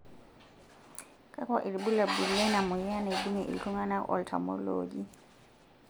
kakua irbulabol lena moyian naibungie iltunganak oltamolooji?